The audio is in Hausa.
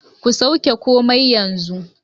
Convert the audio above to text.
Ku sauke komai yanzu